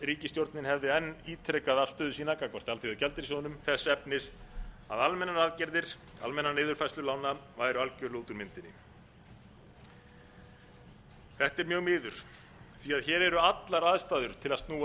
ríkisstjórnin hefði enn ítrekað afstöðu sína gagnvart alþjóðagjaldeyrissjóðnum þess efnis að almennar aðgerðir almennar niðurfærslur lána væru algjörlega út úr myndinni þetta er mjög miður því hér eru allar aðstæður til að snúa